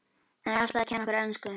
Hann er alltaf að kenna okkur ensku!